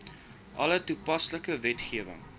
alle toepaslike wetgewing